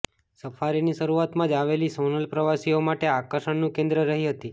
સફારીની શરૂઆતમાં જ આવેલી સોનલ પ્રવાસીઓ માટે આકર્ષણ નું કેન્દ્ર રહી હતી